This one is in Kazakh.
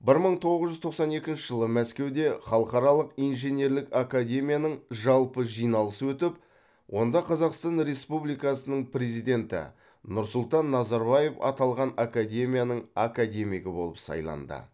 бір мың тоғыз жүз тоқсан екінші жылы мәскеуде халықаралық инженерлік академияның жалпы жиналысы өтіп онда қазақстан республикасының президенті нұрсұлтан назарбаев аталған академияның академигі болып сайланды